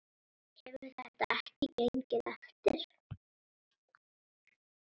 Hefur þetta ekki gengið eftir?